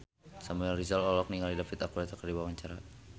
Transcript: Samuel Rizal olohok ningali David Archuletta keur diwawancara